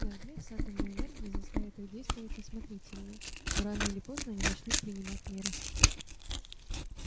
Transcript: наш блеф с атомной энергией заставит их действовать осмотрительнее но рано или поздно они начнут принимать меры